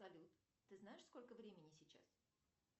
салют ты знаешь сколько времени сейчас